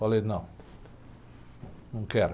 Falei, não, não quero.